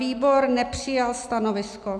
Výbor nepřijal stanovisko.